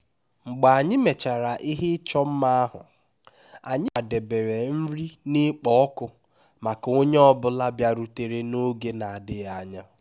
mgbe anyị mechara ihe ịchọ mma ahụ anyị kwadebere nri na-ekpo ọkụ maka onye ọ bụla bịarutere n'oge na-adịghị anya